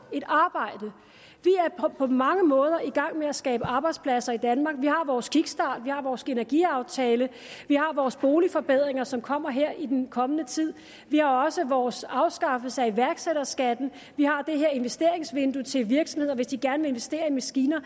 på mange måder i gang med at skabe arbejdspladser i danmark vi har vores kickstart vi har vores energiaftale og vi har vores boligforbedringer som kommer her i den kommende tid vi har også vores afskaffelse af iværksætterskatten og vi har det her investeringsvindue til virksomheder hvis de gerne vil investere i maskiner